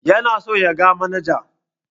Yana so ya ga manaja.